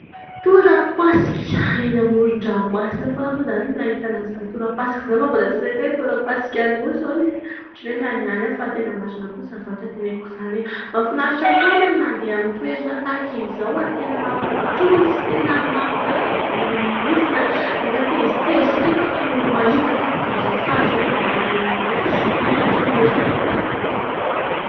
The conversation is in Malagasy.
Torapasika ! Eny amoron-dramomasina foana moa izany no hahitana an'izany torapasika izany fa mbola tsy nahita hoe torapasik'Anosy hono. Ohatry ny hoe mihanihany aho fa tena marina kosa izany zavatra teneniko izany eh ! Mahafinaritra foana ny mandeha amin'ny toerana tahaka izao ary tena mampitony sy tena nampiala voly mihitsiny. Rehefa tezitezitra iny ianao ka mahita tampoka an'izao sary izao dia manonofy sy tonitony ery. Hah tiko !